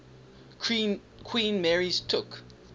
queen mary's took